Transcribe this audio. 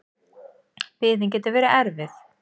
Biðin getur verið erfið.